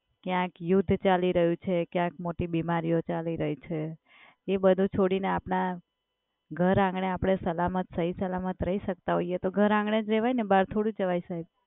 ક્યાંક યુદ્ધ ચાલી રહ્યું છે, ક્યાંક મોટી બીમારીઓ ચાલી રહી છે. એ બધુ છોડીને આપણાં ઘર આંગણે આપણે સલામત સહી-સલામત રહી શકતા હોઈએ, તો ઘર આંગણે જ રહેવાય ને? બહાર થોડું જવાય સાહેબ?